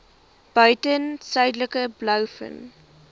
buiten suidelike blouvin